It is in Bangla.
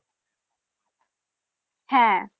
হ্যা।